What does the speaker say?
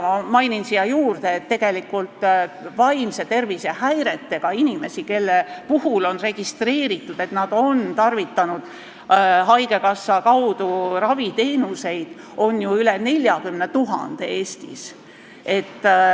Ma mainin siia juurde, et vaimse tervise häiretega inimesi, kelle puhul on registreeritud, et nad on tarvitanud haigekassa kaudu raviteenuseid, on Eestis üle 40 000.